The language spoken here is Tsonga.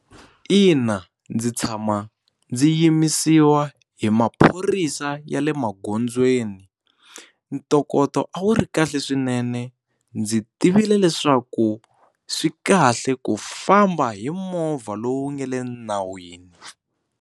Ina, ndzi tshama ndzi yimisiwa hi maphorisa ya le magondzweni ntokoto a wu ri kahle swinene ndzi tivile leswaku swi kahle ku famba hi movha lowu nga le nawini.